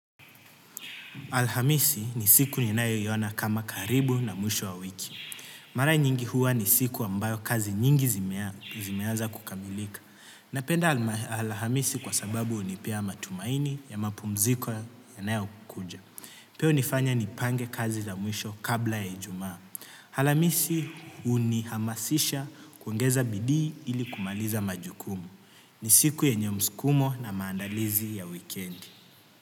Alhamisi ni siku ninayoiona kama karibu na mwisho wa wiki. Marai nyingi huwa ni siku ambayo kazi nyingi zimeaza kukamilika. Napenda alhamisi kwa sababu hunipea matumaini ya mapumziko yanayokuja. Pia hunifanya nipange kazi za mwisho kabla ya ijumaa. Alhamisi hunihamasisha kuongeza bidii ili kumaliza majukumu. Ni siku yenye msukumo na maandalizi ya weekendi.